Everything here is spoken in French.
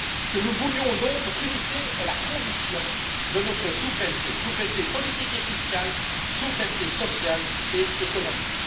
Que nous le voulions ou non, notre unité est la condition de notre souveraineté, souveraineté politique et fiscale, souveraineté sociale et économique.